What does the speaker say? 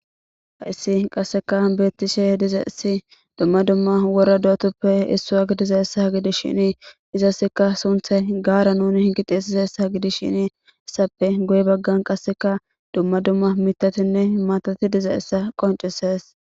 Hayssi qasseka beettishe dizeessi dumma dumma wora dootuppe issu agidizaessa gidish shinii izaseka sunthay gaara nuni hingitisisessa gidis shini issappe goy baggan qasseka dumma dumma mitatinne maatati diza essa qoncises